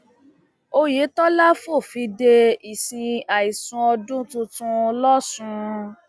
oyetola fòfin de ìsìn àìsùn ọdún tuntun lọsùn